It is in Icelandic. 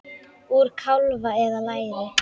Úr kálfa eða læri!